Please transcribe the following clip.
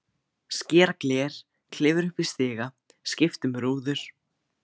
Skera gler, klifra upp í stiga, skipta um rúður.